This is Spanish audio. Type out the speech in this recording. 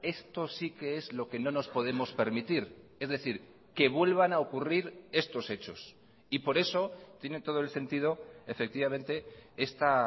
esto sí que es lo que no nos podemos permitir es decir que vuelvan a ocurrir estos hechos y por eso tiene todo el sentido efectivamente esta